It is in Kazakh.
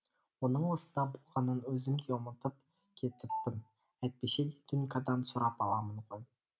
оның осында болғанын өзім де ұмытып кетіппін әйтпесе дунькадан сұрап аламын ғой